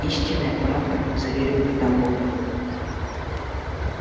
истинная правда заверил её дамблдор